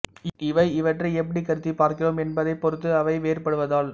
இவை இவற்றை எப்படி கருதிப் பார்க்கிறோம் என்பதைப் பொறுத்து அவை வேறுபடுவதால்